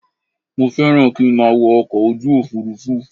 Mo fẹ́ràn kí n má a wọ ọkọ̀ ojú òfurufú